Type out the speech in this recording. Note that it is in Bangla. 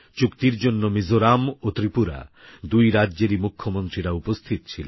চুক্তির জন্য মিজোরাম ও ত্রিপুরা দুই রাজ্যেরই মুখ্যমন্ত্রীরা উপস্থিত ছিলেন